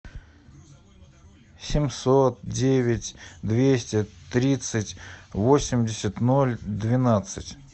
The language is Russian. семьсот девять двести тридцать восемьдесят ноль двенадцать